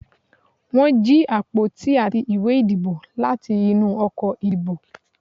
won jí apotí atí ìwé ìdíbò latí inú ọkọ ìdíbò